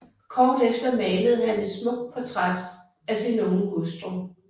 Kort efter malede han et smukt portræt af sin unge hustru